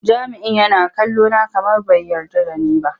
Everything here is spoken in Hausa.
Jami'in yana kallona kamar bai yarda da ni ba.